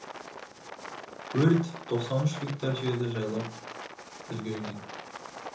өрт тоқсан үш гектар жерді жайпап үлгерген